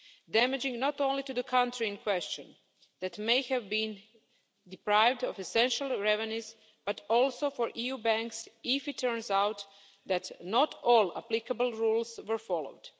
Damaging not only to the country in question, which may have been deprived of essential revenues, but also for EU banks if it turns out that not all applicable rules were followed.